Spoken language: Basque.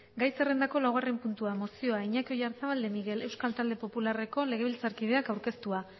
gai zerrendako laugarren puntua mozioa iñaki oyarzabal de miguel euskal talde popularreko legebiltzarkideak aurkeztua